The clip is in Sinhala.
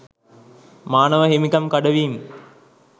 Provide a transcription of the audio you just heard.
මානව හිමිකම් කඩවීම්